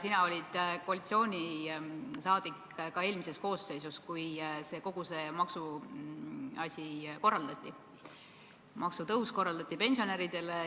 Sina olid koalitsiooni liige ka eelmises koosseisus, kui kogu see pensionäride maksutõus korraldati.